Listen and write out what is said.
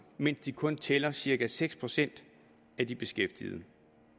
mens de kun tæller cirka seks procent af de beskæftigede